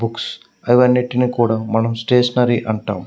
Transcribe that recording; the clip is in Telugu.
బుక్స్ అవి అన్నిటిని కూడా మనం స్టేషనరీ అంటాము.